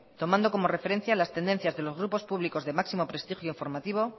tomando como referencia las tendencias de los grupos públicos de máximo prestigio informativo